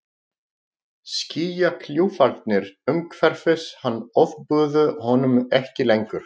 Skýjakljúfarnir umhverfis hann ofbuðu honum ekki lengur.